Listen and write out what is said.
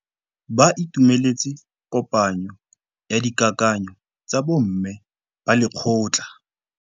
Ba itumeletse kôpanyo ya dikakanyô tsa bo mme ba lekgotla.